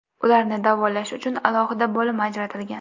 Ularni davolash uchun alohida bo‘lim ajratilgan.